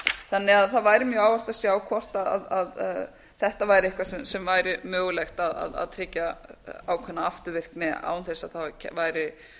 þannig að það væri mjög að sjá hvort þetta væri eitthvað sem væri mögulegt að tryggja ákveðna afturvirkni án þess að það væri